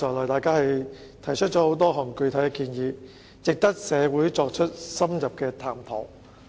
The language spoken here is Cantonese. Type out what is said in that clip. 大家剛才提出了不少具體建議，值得社會深入探討。